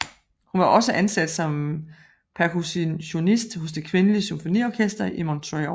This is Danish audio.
Hun var også ansat som percussionist hos Det Kvindelige Symfoniorkester i Montreal